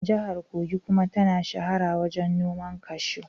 Jihar Kogi kuma ta shahara wajen noman kashu.